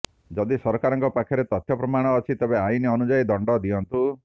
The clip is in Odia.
ଯଦି ସରକାରଙ୍କ ପାଖରେ ତଥ୍ୟ ପ୍ରମାଣ ଅଛି ତେବେ ଆଇନ ଅନୁଯାୟୀ ଦଣ୍ଡ ଦିଅନ୍ତୁ